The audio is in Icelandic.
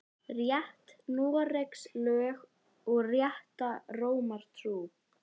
Rétt Noregs lög og rétta Rómar trú